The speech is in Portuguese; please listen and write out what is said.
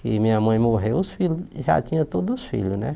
e minha mãe morreu, os filhos, já tinha todos os filhos, né?